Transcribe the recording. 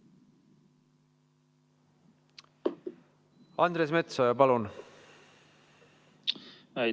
Andres Metsoja, palun!